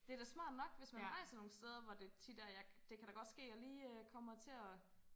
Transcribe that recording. Det da smart nok hvis man rejser nogen steder hvor det tit er jeg det kan godt ske jeg lige kommer til at